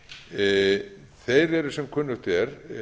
lífeyrissjóðanna þeir eru sem kunnugt er